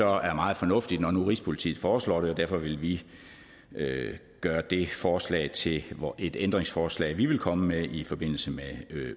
er meget fornuftigt når nu rigspolitiet foreslår det og derfor vil vi gøre det forslag til et ændringsforslag vi vil komme med i forbindelse med